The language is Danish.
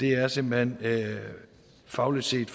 er simpelt hen fagligt set